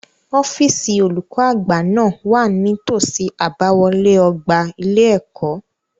Ọ́fíìsì olùkó àgbà náà wà ní tòsí àbáwọlé ọgbà ilé-ẹ̀kọ́.